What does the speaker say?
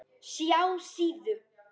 SJÁ SÍÐU.